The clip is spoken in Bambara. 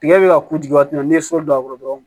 Tigɛ bɛ ka k'u jigi waati min na n'i ye so don a kɔrɔ dɔrɔn